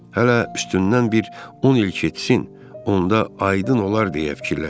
Hələ üstündən bir 10 il keçsin, onda aydın olar deyə fikirləşdi.